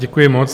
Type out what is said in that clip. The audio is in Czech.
Děkuji moc.